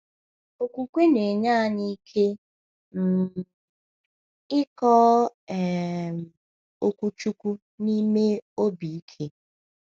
Okwukwe na-enye anyị ike um ịkọ um Okwu Chineke n’ime obi ike.